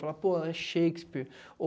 Falar, pô, é Shakespeare.